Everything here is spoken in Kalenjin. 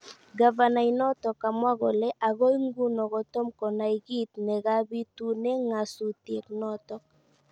Gavana inotok kamwa kole akoi nguno kotoom konai kiit ne kabitune ng'asutienotok